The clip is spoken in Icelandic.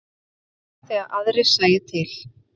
Sérstaklega þegar aðrir sæju til.